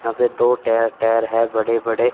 यहां पे दो टाय टायर है बड़े बड़े।